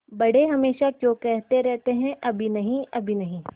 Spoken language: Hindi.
बड़े हमेशा क्यों कहते रहते हैं अभी नहीं अभी नहीं